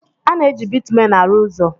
A na-eji Bitumen arụ ụzọ.